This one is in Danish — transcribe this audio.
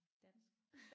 Dansk